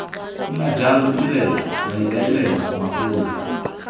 nna jalo ditirelo maikaelelo magolo